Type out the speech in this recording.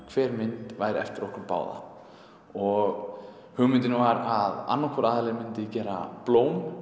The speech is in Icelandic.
hver mynd væri eftir okkur báða og hugmyndin var að annar hvor aðili myndi gera blóm